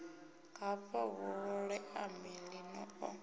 hafha hu ṱoḓea maḓi o